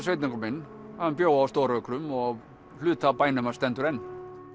sveitunga minn hann bjó á stóru ökrum og hluti af bænum hans stendur enn